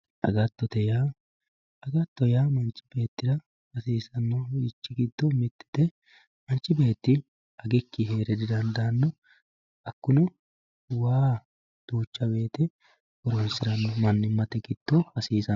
agattote yaa agatto yaa manchi beettira hasiisannorichi giddo mittete manchi beetti agikkinni heera didaandaanno hakkuno waa duuchcha wooyite horonsiranno mannimmate giddo hasiisanno